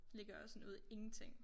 Ligger også sådan ude i ingenting